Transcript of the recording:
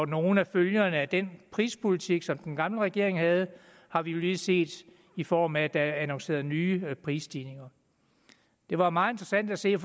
nogle af følgerne af den prispolitik som den gamle regering havde har vi jo lige set i form af at der er annonceret nye prisstigninger det var meget interessant at se